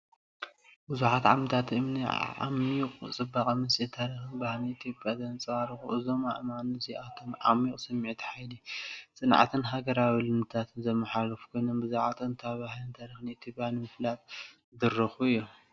ብዙሓት ዓምዲታት እምኒ ዓሚቝ ጽባቐን ምስጢርን ታሪኽን ባህልን ኢትዮጵያ ዘንጸባርቑ፣ እዞም ኣእማን እዚኣቶም ዓሚቝ ስምዒት ሓይሊ፡ ጽንዓትን ሃገራዊ ልምድታትን ዘመሓላልፉ ኮይኖም፡ ብዛዕባ ጥንታዊ ባህልን ታሪኽን ኢትዮጵያ ንምፍላጥ ዝድርኹ እዮም።